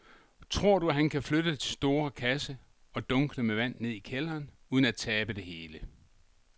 Tror du, at han kan flytte den store kasse og dunkene med vand ned i kælderen uden at tabe det hele?